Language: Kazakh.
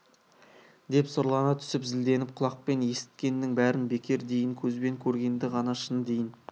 деп сұрлана түсіп зілденіп құлақпен есіткеннің бәрін бекер дейін көзбен көргенді ғана шын дейін